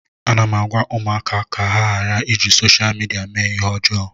Ana m agwa ụmụaka ka ha ghara iji sosha midia mee ihe ọjọọ